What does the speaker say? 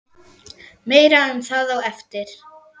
Meira um það á eftir.